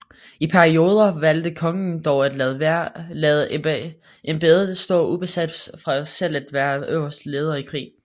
I perioder valgte kongen dog at lade embedet stå ubesat for selv at være øverste leder i krig